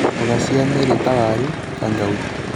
Mboga cia mĩri ta waru, kangauthi